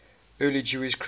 early jewish christians